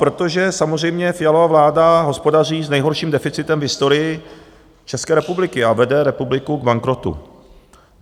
Protože samozřejmě Fialova vláda hospodaří s nejhorším deficitem v historii České republiky a vede republiku k bankrotu.